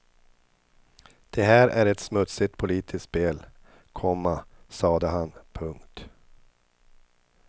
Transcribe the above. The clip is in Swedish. Det här är ett smutsigt politiskt spel, komma sade han. punkt